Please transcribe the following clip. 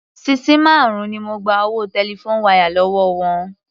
Sisí márùn-ún ni mo gba owó telephone wire lówó wọn.